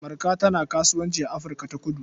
Marka tana kasuwanci a Afirka-ta-kudu.